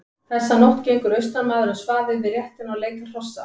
Þessa nótt gengur austanmaður um svaðið við réttina og leitar hrossa.